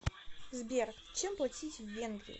сбер чем платить в венгрии